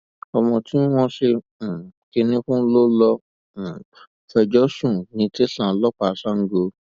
ọmọ tí wọn ṣe um kinní fún ló lọọ um fẹjọ sùn ní tẹsán ọlọpàá sango